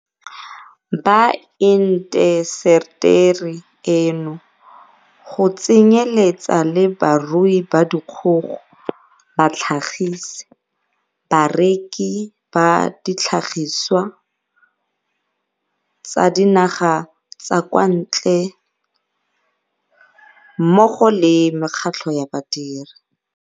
ba intaseteri eno, go tsenyeletsa le barui ba dikgogo, batlhagisi, bareki ba ditlhagisiwa tsa dinaga tsa kwa ntle mmogo le mekgatlho ya badiri.